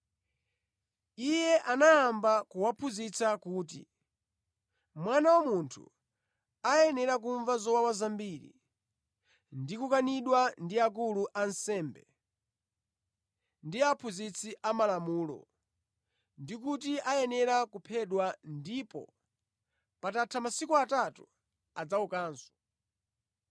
Iye anayamba kuwaphunzitsa kuti, “Mwana wa Munthu ayenera kumva zowawa zambiri ndi kukanidwa ndi akulu a ansembe, ndi aphunzitsi a malamulo, ndi kuti ayenera kuphedwa ndipo patatha masiku atatu adzaukanso.”